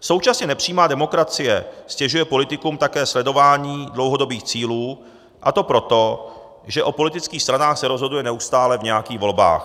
Současně nepřímá demokracie ztěžuje politikům také sledování dlouhodobých cílů, a to proto, že o politických stranách se rozhoduje neustále v nějakých volbách.